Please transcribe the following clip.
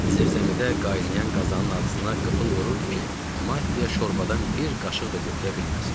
Zirzəmidə qaynayan qazanın ağzına qıfıl vururdu ki, Mattia şorbədən bir qaşıq da götürə bilməsin.